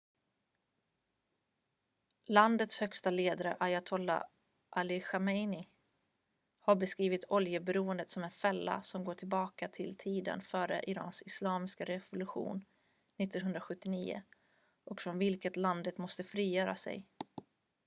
"landets högste ledare ayatolla ali khamenei har beskrivit oljeberoendet som "en fälla" som går tillbaka till tiden före irans islamiska revolution 1979 och från vilket landet måste frigöra sig.